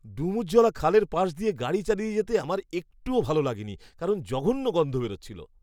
ডুমুরজলা খালের পাশ দিয়ে গাড়ি চালিয়ে যেতে আমার একটুও ভালো লাগেনি কারণ জঘন্য গন্ধ বেরচ্ছিল।